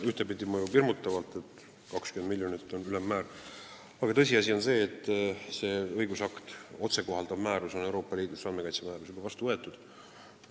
Ühtepidi mõjub see hirmutavalt, sest 20 miljonit on ülemmäär, aga tõsiasi on see, et see õigusakt, otsekohaldatav andmekaitsemäärus, on Euroopa Liidus juba vastu võetud.